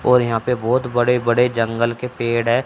और यहां पे बहोत बड़े बड़े जंगल के पेड़ है।